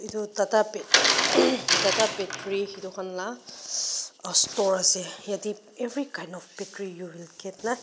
etu tata battery etukhan laa store ase yate every kind of battery you will get na .